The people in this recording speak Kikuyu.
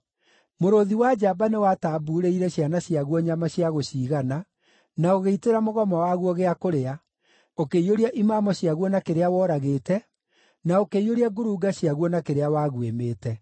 Mũrũũthi wa njamba nĩwatambuurĩire ciana ciaguo nyama cia gũciigana, na ũgĩitĩra mũgoma waguo gĩa kũrĩa, ũkĩiyũria imamo ciaguo na kĩrĩa woragĩte, na ũkĩiyũria ngurunga ciaguo na kĩrĩa waguĩmĩte.